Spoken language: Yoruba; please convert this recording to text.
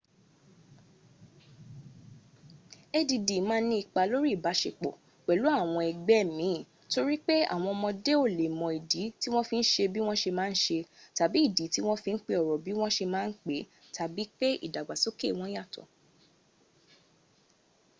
add ma n ní ipá lóri ibasepo pẹ̀lú àwọn ëgbẹ́ min tori pe awon omode o le mo idi ti won fi n se bi won se ma n se tabi idi ti won fi n pe oro bi won se ma n pe tabi pe idagbasoke won yato